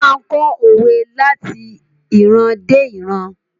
Wón máa n kọ́ òwe láti ìran dé ìran